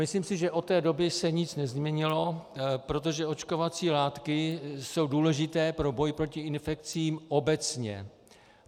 Myslím si, že od té doby se nic nezměnilo, protože očkovací látky jsou důležité pro boj proti infekcím obecně.